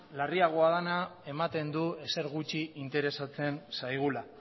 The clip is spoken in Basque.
larriago dena ematen du ezer gutxi interesatzen zaigula